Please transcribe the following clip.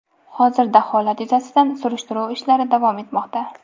Hozirda holat yuzasidan surishtiruv ishlari davom etmoqda.